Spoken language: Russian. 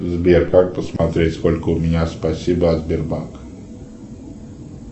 сбер как посмотреть сколько у меня спасибо от сбербанка